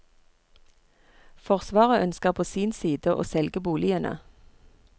Forsvaret ønsker på sin side å selge boligene.